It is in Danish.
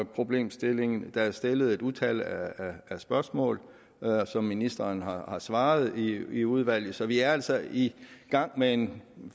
problemstillingen der er stillet et utal af spørgsmål som ministeren har svaret på i udvalget så vi er altså i gang med en